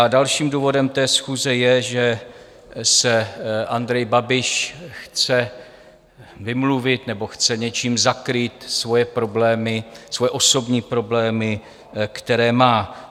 A dalším důvodem té schůze je, že se Andrej Babiš chce vymluvit nebo chce něčím zakrýt svoje problémy, svoje osobní problémy, které má.